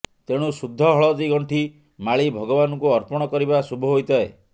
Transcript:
ତେଣୁ ଶୁଦ୍ଧ ହଳଦୀ ଗଣ୍ଠି ମାଳି ଭଗବାନଙ୍କୁ ଅର୍ପଣ କରିବା ଶୁଭ ହୋଇଥାଏ